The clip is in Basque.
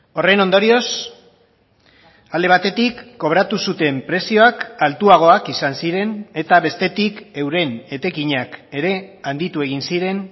horren ondorioz alde batetik kobratu zuten prezioak altuagoak izan ziren eta bestetik euren etekinak ere handitu egin ziren